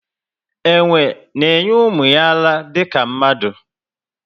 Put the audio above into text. Enwe na enye ụmụ ya ara dika mmadụ